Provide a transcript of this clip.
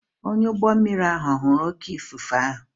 Onye ụgbọ mmiri ahụ ọ̀ hụrụ oké ifufe ahụ?